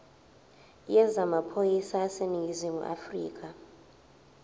yezamaphoyisa aseningizimu afrika